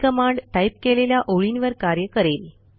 ही command type केलेल्या ओळींवर कार्य करेल